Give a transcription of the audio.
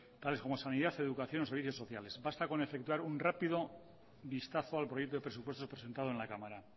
tales como sanidad educación o los servicios sociales basta con efectuar un rápido vistazo al proyecto de presupuestos presentado en la cámara